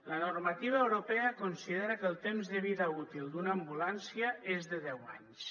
la normativa europea considera que el temps de vida útil d’una ambulància és de deu anys